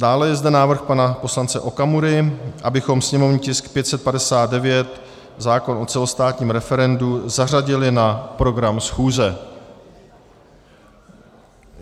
Dále je zde návrh pana poslance Okamury, abychom sněmovní tisk 559, zákon o celostátním referendu, zařadili na program schůze.